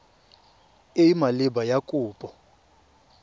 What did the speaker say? e e maleba ya kopo